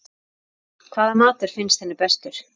Hvaða matur finnst henni bestur?